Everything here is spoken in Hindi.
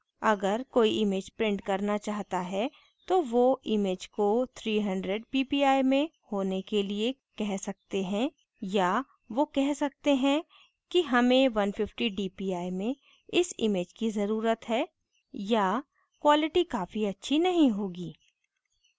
अगर कोई image print करना चाहता है तो वो image को 300 ppi में होने के लिए कह सकते है या वो कह सकते है कि हमें 150 dpi में इस image की ज़रुरत है या quality काफ़ी अच्छी नहीं होगी